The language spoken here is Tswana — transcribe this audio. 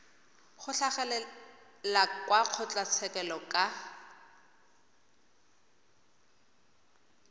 go tlhagelela kwa kgotlatshekelo ka